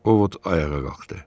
O Vod ayağa qalxdı.